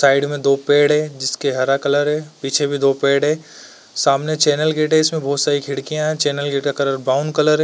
Side मे दो पेड़ हैं जिसके हरा कलर हैं। पीछे भी दो पेड़ हैं। सामने चैनल गेट है इसमें बहोत सारी खिड़कियाँ हैं। चैनल गेट का कलर ब्राउन कलर है।